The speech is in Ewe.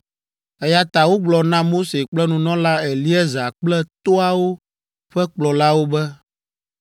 Eya ta wogblɔ na Mose kple nunɔla Eleazar kple toawo ƒe kplɔlawo be,